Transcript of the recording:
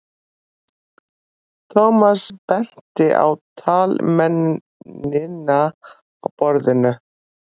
Thomas benti á taflmennina á borðinu.